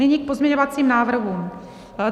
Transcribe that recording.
Nyní k pozměňovacím návrhům.